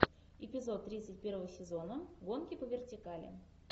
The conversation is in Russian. эпизод тридцать первого сезона гонки по вертикали